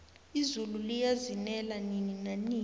izulu liyazinela nini nanini